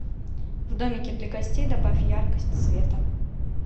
в домике для гостей добавь яркость света